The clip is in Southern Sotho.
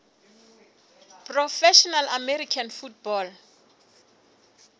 professional american football